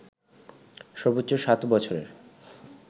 সর্বোচ্চ সাত বছরের